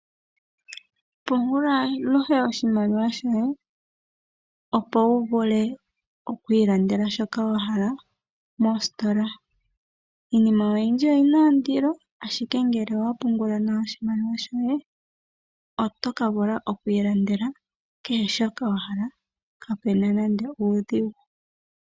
Pungula aluhe oshimaliwa shoye, opo wuvule okwiilandela shoka wahala mositola. Iinima oyindji oyi na ondilo, ashike ngele owa pungula nawa oshimaliwa shoye, oto ka vula okwiilandela kehe shoka wahala, kapeena nande uudhigu.